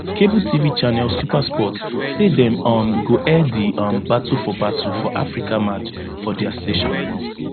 cable tv channel supersport say dem um go air di um battle for battle for africa match for dia station